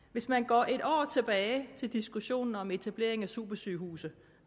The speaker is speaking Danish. hvis man går et år tilbage til diskussionen om etableringen af supersygehuse